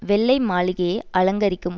வெள்ளை மாளிகையை அலங்கரிக்கும்